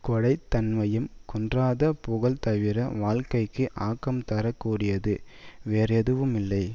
கொடைத் தன்மையும் குன்றாத புகழும்தவிர வாழ்க்கைக்கு ஆக்கம் தர கூடியது வேறெதுவும் இல்லை